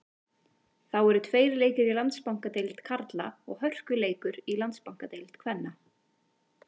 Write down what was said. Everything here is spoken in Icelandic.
Þá eru tveir leikir í Landsbankadeild karla og hörkuleikur í Landsbankadeild kvenna.